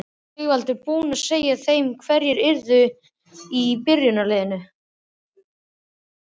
Sigvaldi var búinn að segja þeim hverjir yrðu í byrjunarliðinu.